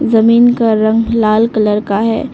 जमीन का रंग लाल कलर का है।